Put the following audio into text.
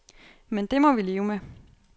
Men det må vi leve med.